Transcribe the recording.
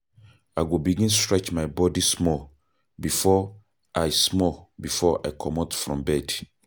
I go begin stretch my body small before I small before I comot from bed.